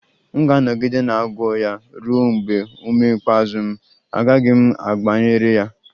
M ga-anọgide na-agwọ ya ruo mgbe ume ikpeazụ m, agaghị m agbaghara ya